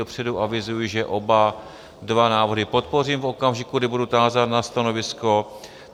Dopředu avizuji, že oba dva návrhy podpořím v okamžiku, kdy budu tázán na stanovisko.